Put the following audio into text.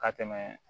Ka tɛmɛ